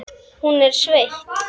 Hún er sveitt.